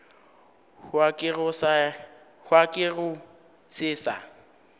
hwa ke go se sa